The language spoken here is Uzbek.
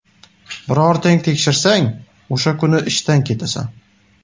Birortang tekshirsang, o‘sha kuni ishdan ketasan.